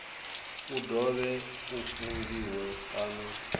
u dovhe u fungiwe kana